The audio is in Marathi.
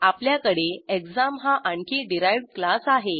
आपल्याकडे एक्झाम हा आणखी डिराइव्ह्ड क्लास आहे